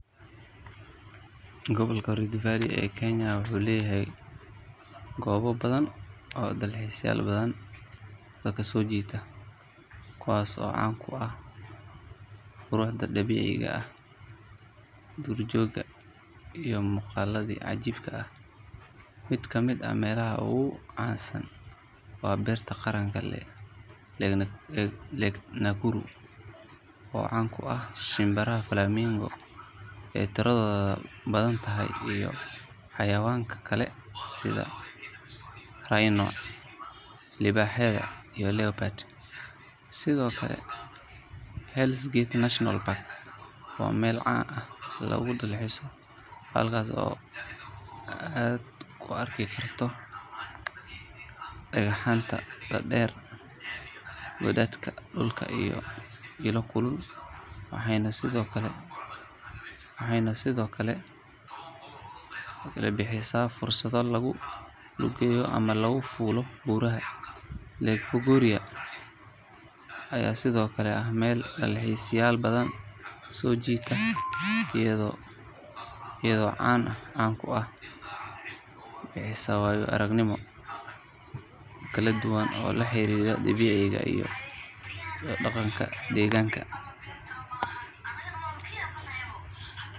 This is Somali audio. Gobolka Rift Valley ee Kenya wuxuu leeyahay goobo badan oo dalxiisayaal badan soo jiita, kuwaas oo caan ku ah quruxda dabiiciga ah, duurjoogta, iyo muuqaalada cajiibka ah. Mid ka mid ah meelaha ugu caansan waa Beerta Qaranka ee Lake Nakuru, oo caan ku ah shimbiraha flamingo ee tiradoodu badan tahay, iyo xayawaanka kale sida rinoceroses, libaaxyada, iyo leopards. [Sidoo kale, Hell’s Gate National Park waa meel caan ah oo lagu dalxiiso, halkaas oo aad ku arki karto dhagxaanta dhaadheer, godadka dhulka, iyo ilo kulul, waxayna sidoo kale bixisaa fursado lagu lugeeyo ama lagu fuulo buuraha. [2Lake Bogoria ayaa sidoo kale ah meel dalxiisayaal badan soo jiidata, iyadoo caan ku ah ilo kulul, geysers, iyo shimbiraha flamingo ee tiro badan. [] Meelahan ayaa ah kuwa ugu caansan ee lagu dalxiiso gudaha Rift Valley, waxayna bixiyaan waayo-aragnimooyin kala duwan oo la xiriira dabiiciga iyo dhaqanka deegaanka.